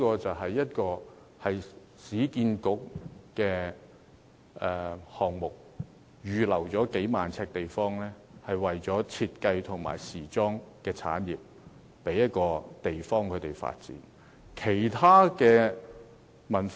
這市建局項目預留了數萬平方呎地方，為設計及時裝產業提供發展的地方。